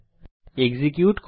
execute করি